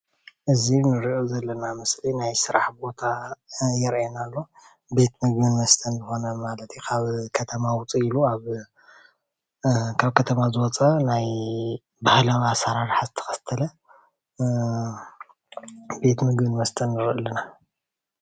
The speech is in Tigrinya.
እዚ ንሪኦ ዘለና ምስሊ ናይ ስራሕ ቦታ የርእየና ኣሎ፡፡ ቤት ምግብን መስተን ዝኾነ ማለት እዩ፡፡ ካብ ከተማ ውዕእ ኢሉ ኣብ ካብ ከተማ ዝመጸ ናይ ባህላዊ ኣሰራርሓ ዝተኸተለ እ ቤት ምግብን መስተን ንርኢ ኣለና፡፡